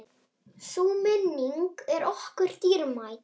Sú minning er okkur dýrmæt.